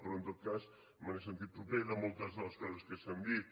però en tot cas me n’he sentit proper de moltes de les coses que s’han dit